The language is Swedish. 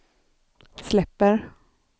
släpper